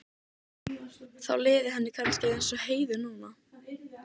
Þá liði henni kannski eins og Heiðu núna.